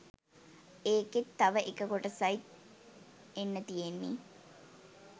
එකෙත් තව එක කොටසයි එන්න තියෙන්නේ